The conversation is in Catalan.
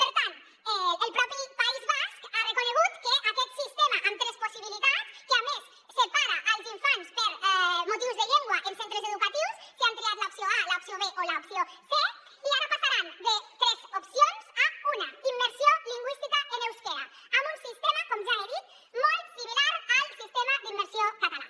per tant el mateix país basc ha reconegut que aquest sistema amb tres possibilitats que a més separa els infants per motius de llengua en centres educatius si han triat l’opció a l’opció b o l’opció c i ara passaran de tres opcions a una immersió lingüística en eusquera amb un sistema com ja he dit molt similar al sistema d’immersió català